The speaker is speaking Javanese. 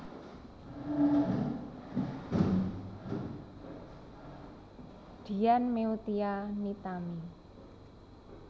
Dian Meutia Nitami